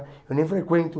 Eu nem frequento.